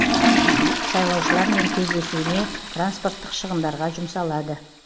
сайлаушылармен кездесуіне транспорттық шығындарға жұмсалады